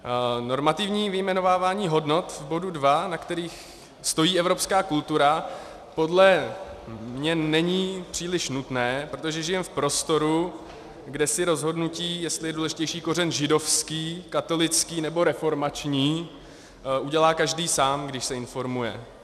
Normativní vyjmenovávání hodnot v bodu 2, na kterých stojí evropská kultura, podle mě není příliš nutné, protože žijeme v prostoru, kde si rozhodnutí, jestli je důležitější kořen židovský, katolický nebo reformační udělá každý sám, když se informuje.